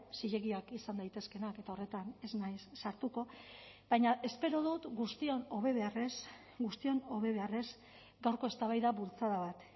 zilegiak izan daitezkeenak eta horretan ez naiz sartuko baina espero dut guztion hobe beharrez guztion hobe beharrez gaurko eztabaida bultzada bat